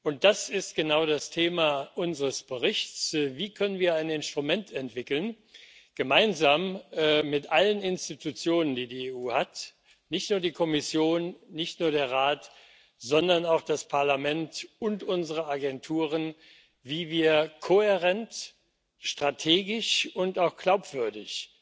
Genau das ist das Thema unseres Berichts Wie wir ein Instrument entwickeln können gemeinsam mit allen Institutionen, die die EU hat, nicht nur der Kommission, nicht nur dem Rat, sondern auch dem Parlament und unseren Agenturen wie wir kohärent, strategisch und auch glaubwürdig